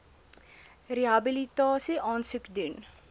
rehabilitasie aansoek doen